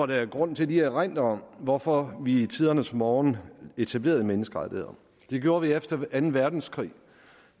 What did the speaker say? der er grund til lige at erindre om hvorfor vi i tidernes morgen etablerede menneskerettigheder det gjorde vi efter anden verdenskrig